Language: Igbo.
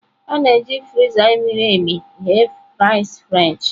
A na-eji frya miri emi eghe frasị frenchị.